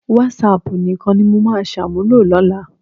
Wásáaàpù nìkan ni mo máa ṣàmúlò lọ́la